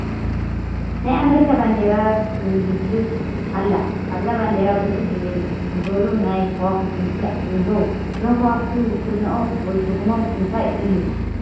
ናይ ኣሜሪካ ባንዴራ ትውልብለብ ኣላ፡፡ ኣብዛ ባንዴራ ብርክት ዝወሉ ናይ ከዋኽብቲ ምስሊ እኔዉ፡፡ እዞም ከዋኽብቲ ውክልንኦም ወይ ትርጉሞም እንታይ እዩ?